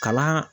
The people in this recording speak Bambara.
Kalan